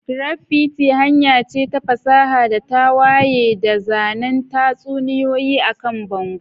Graffiti hanya ce ta fasaha da tawaye ta zanen tatsuniyoyi akan bango.